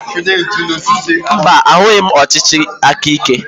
Mba, ahụghị m ọchịchị aka ike.